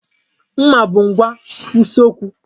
Nmà bụ ngwa usekwu.